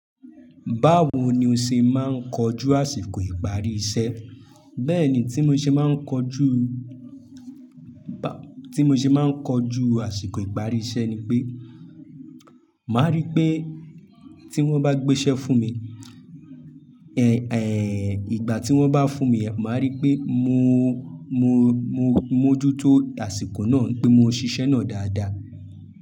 Báwo ni o ṣe máa ń kojú àsìkò ìparí iṣẹ́? Bẹ́ẹ̀ni tí mo ṣe máa ń kojú, tí mo ṣe máa ń kojú àsìkò ìparí iṣẹ́ ni pé, màá rí pé tí wọ́n bá gbé iṣẹ́ fún mi, ìgbà tí wọ́n bá fún yen, màá rí pé mo, mo, mo mójútó àsìkò náà pé mo ṣiṣẹ́ náà dáadáa.